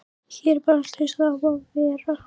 Hér er bara allt eins og það á að vera.